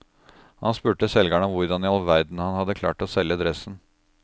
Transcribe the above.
Han spurte selgeren om hvordan i all verden han hadde klart å selge dressen.